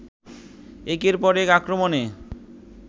একের পর এক আক্রমণে